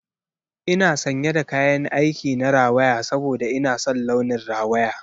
Ina sanye da kayan aik na rawaya saboda ina son launin rawaya.